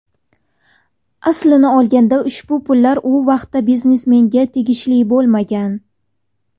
Aslini olganda ushbu pullar u vaqtda biznesmenga tegishli bo‘lmagan.